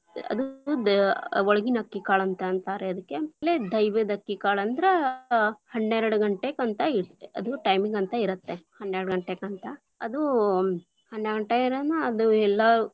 ಅದು~ ದ ಒಳಗಿನ ಅಕ್ಕಿ ಕಾಳು ಅಂತ ಅಂತಾರೆ ಅದಕ್ಕೆ, ದೈವದ ಅಕ್ಕಿಕಾಳ ಅಂದ್ರ ಹನ್ನೇರಡಗಂಟೆಗಂತ ಇತೇ೯ತಿ, ಅದು timing lang:Foreign ಅಂತ ಇರತ್ತೆ, ಹನ್ನ್ಯಾಡ ಗಂಟೆಗಂತ, ಅದು ಹನ್ಯಾಡ ಗಂಟೆಇರನ ಅದು ಎಲ್ಲಾ.